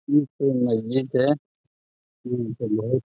ई कोई मस्जिद है जो मुसलमान --